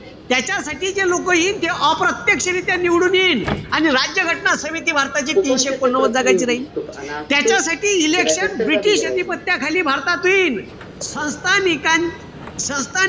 त्याच्यासाठी जे लोकं येईन. जे अप्रत्यक्षरीत्या निवडून यिन. अन राज्य घटना समिती भारताची तीनशे एकोणनव्वद जागाची राईन. त्याच्यासाठी election british अधिपत्याखाली भारतात होईन. संस्थानिक संस्था